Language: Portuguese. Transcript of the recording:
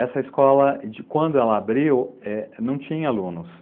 Essa escola, quando ela abriu, não tinha alunos.